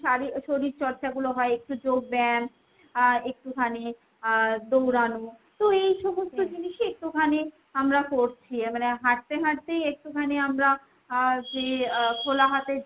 শারী শরীরচর্চাগুলো হয় একটু যোগব্যায়াম, আহ একটুখানি আহ দৌড়ানো। তো এইসমস্ত জিনিসই একটুখানি আমরা করছি। মানে হাঁটতে হাঁটতেই একটুখানি আমরা আহ যে খোলা হাতের যে